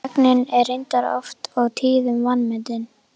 Þögnin er reyndar oft og tíðum vanmetin.